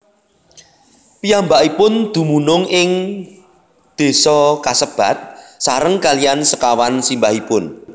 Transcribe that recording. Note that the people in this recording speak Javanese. Piyambakipun dumunung ing désa kasebat sareng kaliyan sekawan simbahipun